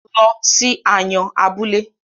Lọ sí Ayọ̀n abúlé!